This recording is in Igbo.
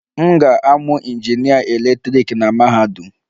M ga-amụ injinịa eletrik na mahadum.